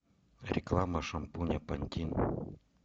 реклама шампуня пантин